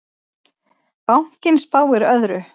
Bankinn spáir öðru.